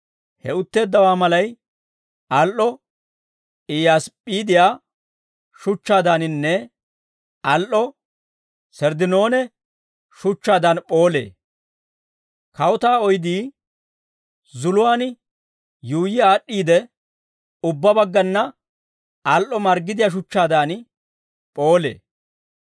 He utteeddawaa malay al"o Iyyaasip'p'iidiyaa shuchchaadaaninne al"o Serddinoone shuchchaadaan p'oolee. Kawutaa oydii zuluwaan yuuyyi aad'd'iide ubbaa baggana al"o marggidiyaa shuchchaadan p'oolee.